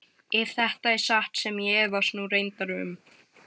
Ef þetta er satt sem ég efast nú reyndar um.